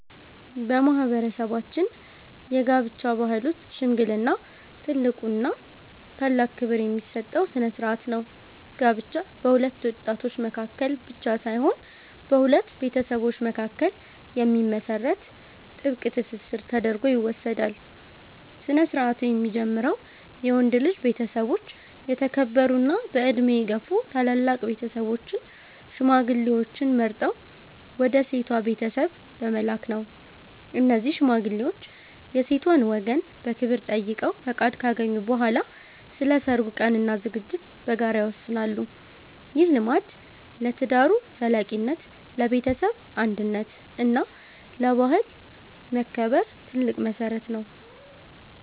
በማህበረሰባችን የጋብቻ ባህል ውስጥ "ሽምግልና" ትልቁና ታላቅ ክብር የሚሰጠው ስነ-ስርዓት ነው። ጋብቻ በሁለት ወጣቶች መካከል ብቻ ሳይሆን በሁለት ቤተሰቦች መካከል የሚመሰረት ጥብቅ ትስስር ተደርጎ ይወሰዳል። ስነ-ስርዓቱ የሚጀምረው የወንድ ልጅ ቤተሰቦች የተከበሩና በዕድሜ የገፉ ታላላቅ ሰዎችን (ሽማግሌዎችን) መርጠው ወደ ሴቷ ቤተሰብ በመላክ ነው። እነዚህ ሽማግሌዎች የሴቷን ወገን በክብር ጠይቀው ፈቃድ ካገኙ በኋላ፣ ስለ ሰርጉ ቀንና ዝግጅት በጋራ ይወስናሉ። ይህ ልማድ ለትዳሩ ዘላቂነት፣ ለቤተሰብ አንድነት እና ለባህል መከበር ትልቅ መሰረት ነው።